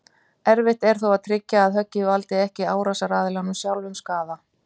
Erfitt er þó að tryggja að höggið valdi ekki árásaraðilanum sjálfum skaða.